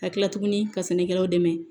Ka kila tuguni ka sɛnɛkɛlaw dɛmɛ